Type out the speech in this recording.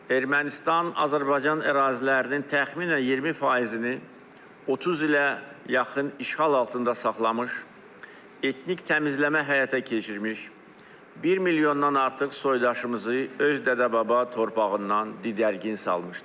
Ermənistan Azərbaycan ərazilərinin təxminən 20%-ni 30 ilə yaxın işğal altında saxlamış, etnik təmizləmə həyata keçirmiş, 1 milyondan artıq soydaşımızı öz dədə-baba torpağından didərgin salmışdır.